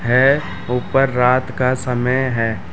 है ऊपर रात का समय है ।